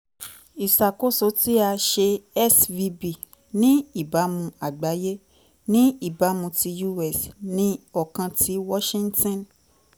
iṣakoso ti a ṣe svb ni ibamu agbaye ni ibamu ti us ni ọkan ti washington